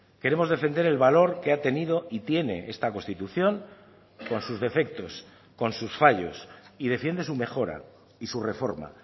queremos defender el valor que ha tenido y tiene esta constitución con sus defectos con sus fallos y defiende su mejora y su reforma